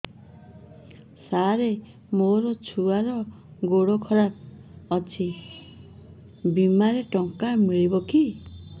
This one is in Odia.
ସାର ମୋର ଛୁଆର ଗୋଡ ଖରାପ ଅଛି ବିମାରେ ଟଙ୍କା ମିଳିବ କି